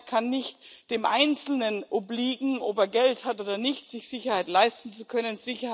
Sicherheit kann nicht dem Einzelnen obliegen ob er Geld hat oder nicht, um sich Sicherheit leisten zu können.